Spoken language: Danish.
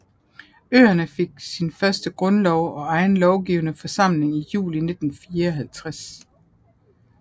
Øerne fik sin første grundlov og egen lovgivende forsamling i juli 1954